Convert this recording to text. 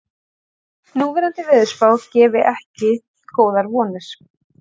Núverandi veðurspá gefi ekki góðar vonir